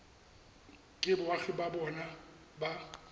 ke boagi ba bona ba